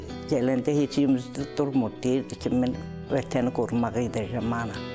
Gələndə heç umuz durmurdu, deyirdi ki, mən Vətəni qorumağa gedəcəm, vallah.